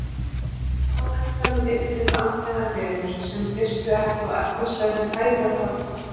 Á endanum yrðum við andlegar verur sem þyrftu ekki á efnislegri fæðu að halda.